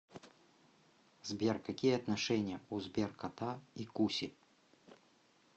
сбер какие отношения у сберкота и куси